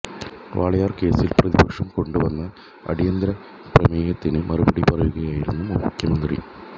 വാളയാർ കേസിൽ പ്രതിപക്ഷം കൊണ്ടു വന്ന അടിയന്തര പ്രമേയത്തിന് മറുപടി പറയുകയായിരുന്നു മുഖ്യമന്ത്രി